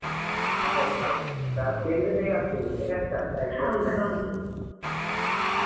ಹೌದೌದು class ಕೇಳಿದ್ರೆ ಬೇಗ ಆಗ್ತದೆ ಇಲ್ಲದಿದ್ರೆ ಕಷ್ಟ ಅದು exam time ಅಲ್ಲಿ